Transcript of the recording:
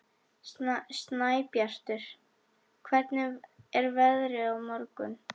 Snæbjartur, hvernig er veðrið á morgun?